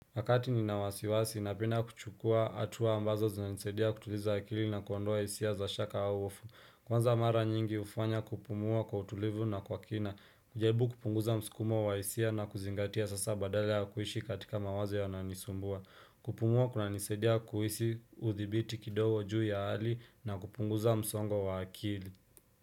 Wakati ninawasiwasi napenda kuchukua atuwa ambazo zinanisaidia kutuliza akili na kuondoa isia za shaka au ofu. Kwanza mara nyingi ufanya kupumua kwa utulivu na kwa kina. Kujaribu kupunguza mskumo wa isia na kuzingatia sasa badala ya kuishi katika mawazo yanayonisumbua. Kupumua kuna nisaidia kuhisi uthibiti kidogo juu ya hali na kupunguza msongo wa akili.